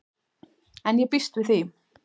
En ég býst við því.